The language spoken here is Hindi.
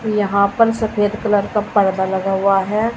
यहां पर सफेद कलर का पर्दा लगा हुआ है।